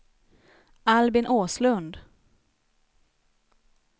Albin Åslund